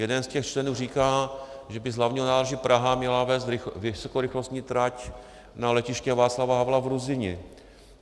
Jeden z těch členů říká, že by z Hlavního nádraží Praha měla vést vysokorychlostní trať na letiště Václava Havla v Ruzyni.